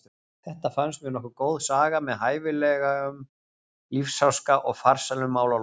Þetta fannst mér nokkuð góð saga með hæfilegum lífsháska og farsælum málalokum.